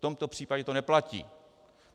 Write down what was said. V tomto případě to neplatí.